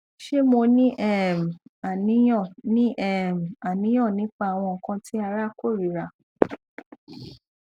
ṣe mo ni um aniyan ni um aniyan nipa awọn nkan ti ara korira